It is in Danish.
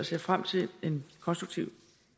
ser frem til en konstruktiv